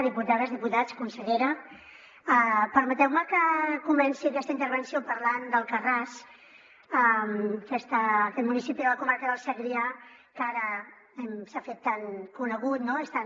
diputades diputats consellera permeteu me que comenci aquesta intervenció parlant d’alcarràs aquest municipi de la comarca del segrià que ara s’ha fet tan conegut no és tan